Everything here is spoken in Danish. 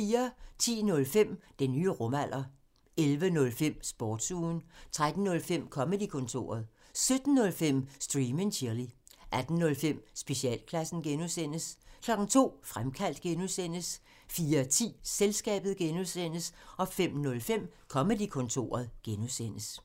10:05: Den nye rumalder 11:05: Sportsugen 13:05: Comedy-kontoret 17:05: Stream and chill 18:05: Specialklassen (G) 02:00: Fremkaldt (G) 04:10: Selskabet (G) 05:05: Comedy-kontoret (G)